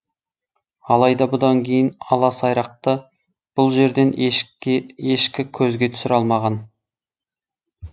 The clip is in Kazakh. алайда бұдан кейін ала сайрақты бұл жерден ешкі көзге түсіре алмаған